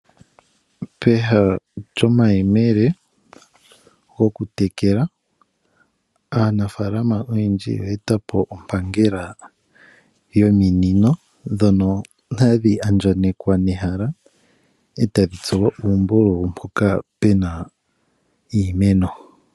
Peha lyomayemele oketekela, aanafalama oyendji oya eta po ompangela dhominino dhono hadhi andjanekwa nehala, e tadhi tsuwa oombululu mpoka pe na iimeno.